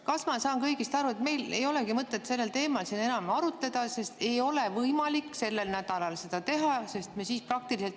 Kas ma saan õigesti aru, et meil ei olegi mõtet sellel teemal siin enam arutada, sest ei ole võimalik sellel nädalal seda teha?